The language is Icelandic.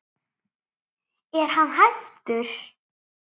Er hann hættur?